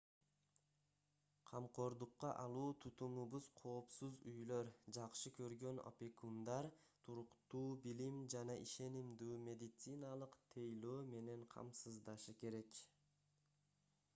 камкордукка алуу тутумубуз коопсуз үйлөр жакшы көргөн опекундар туруктуу билим жана ишенимдүү медициналык тейлөө менен камсыздашы керек